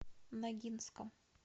ногинском